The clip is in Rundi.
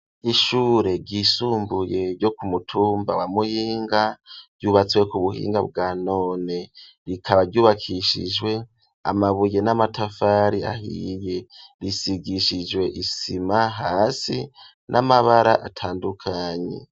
Ishure ryisumbuye ryo ku mutumba wa muyinga ryubatswe ku buhinga bwa none rikaba ryubakishijwe amabuye n'amatafari ahiye risigishijwe isima hasi n'amabara atandukanye.